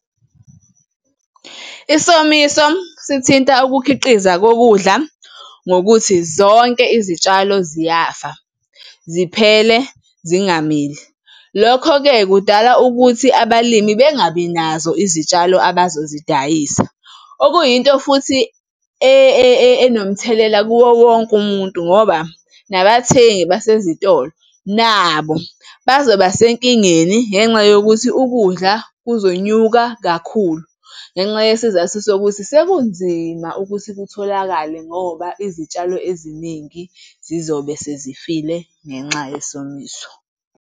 Isomiso sithinta ukukhiqiza kokudla ngokuthi zonke izitshalo ziyafa ziphele zingamili. Lokho-ke kudala ukuthi abalimi bengabi nazo izitshalo abazozidayisa, okuyinto futhi enomthelela kuwo wonke umuntu ngoba nabathengi basesitolo nabo bazobasenkingeni ngenxa yokuthi ukudla kuzonyuka kakhulu ngenxa yesizathu sokuthi sekunzima ukuthi kutholakale ngoba izitshalo eziningi zizobe sezifile ngenxa yesomiso.